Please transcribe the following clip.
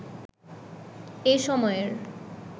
এই সময়ের